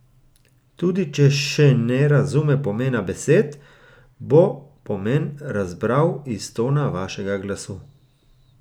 Tudi če še ne razume pomena besed, bo pomen razbral iz tona vašega glasu.